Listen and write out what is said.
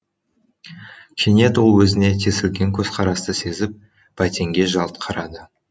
кенет ол өзіне тесілген көзқарасты сезіп бәтенге жалт қарады